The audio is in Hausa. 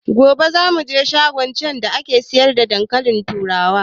Gobe za muje shagon can da ake siyar da dankalin turawa